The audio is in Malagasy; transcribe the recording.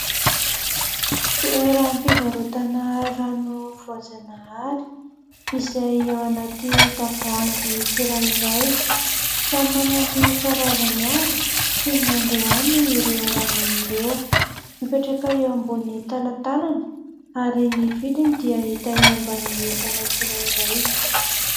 Toeram-pivarotana rano voajanahary izay ao anaty tavoahangy tsirairay. Samy manana ny karazany avy sy ny niandohany ireo rano ireo, mipetraka eo ambony talantalana ary ny vidiny dia hita eo ambinin'ny entana tsirairay.